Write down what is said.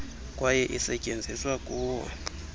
kwaye isetyenziswa kuwo